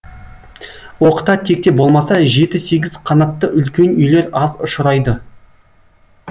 оқта текте болмаса жеті сегіз қанатты үлкен үйлер аз ұшырайды